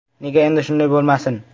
Nega endi shunday bo‘lmasin?